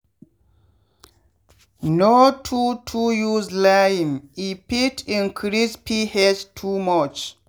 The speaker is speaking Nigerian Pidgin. no too too use lime-e fit increase ph too much.